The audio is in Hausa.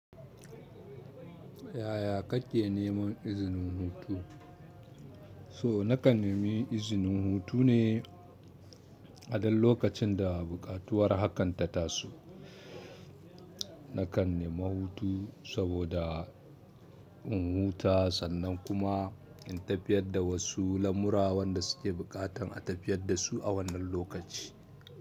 Yaya kake neman izinin hutu? So na kan nemi izinin hutu ne a ɗan lokacin da buƙatuwar hakan ta taso. Na kan nemi hutu saboda in huta sannan kuma in tafiyar da wasu lamura wanda suke buƙatan a tafiyar da su a wannan lokaci.